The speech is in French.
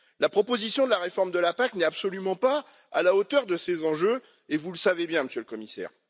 La proposition de la réforme de la PAC n'est absolument pas à la hauteur de ces enjeux, et vous le savez bien, Monsieur le Commissaire.